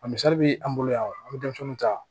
A misali bi an bolo yan wa an bi denmisɛnw ta